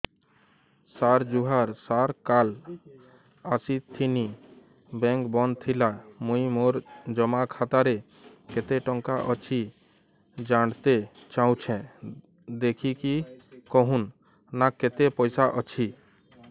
ସାର ଜୁହାର ସାର କାଲ ଆସିଥିନି ବେଙ୍କ ବନ୍ଦ ଥିଲା ମୁଇଁ ମୋର ଜମା ଖାତାରେ କେତେ ଟଙ୍କା ଅଛି ଜାଣତେ ଚାହୁଁଛେ ଦେଖିକି କହୁନ ନା କେତ ପଇସା ଅଛି